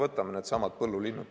Võtame needsamad põllulinnud.